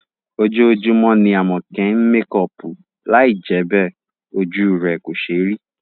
Ojoojúmọ́ ni Àmọ̀kẹ́ ń mekọọ̀pù, lai jẹ́ bẹ́ẹ̀, ojú rẹ̀ kò ṣéé rí